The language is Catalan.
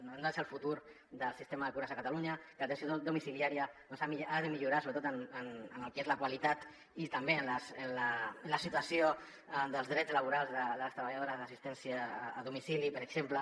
no són el futur del sistema de cures a catalunya l’atenció domicilià·ria ha de millorar sobretot en el que és la qualitat i també en la situació dels drets laborals de les treballadores d’assistència a domicili per exemple